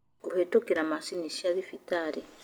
Kũhĩtũkira maciini cia thibitarĩ